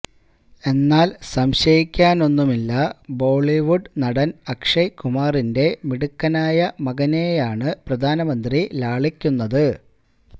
എന്നാല് സംശയിക്കാനൊന്നുമില്ല ബോളിവുഡ് നടന് അക്ഷയ് കുമാറിന്റെ മിടുക്കനായ മകനെയാണ് പ്രധാനമന്ത്രി ലാളിക്കുന്നത്